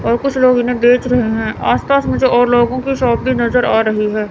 और कुछ लोग इन्हें देख रहे हैं आसपास मुझे और लोगों की शॉप भी नजर आ रही है।